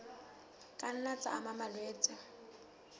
ka nna tsa ama malwetse